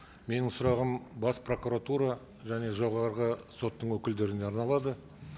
менің сұрағым бас прокуратура және жоғарғы соттың өкілдеріне арналады